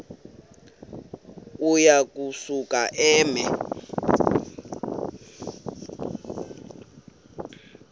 uya kusuka eme